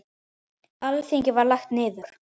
Alþingi var lagt niður.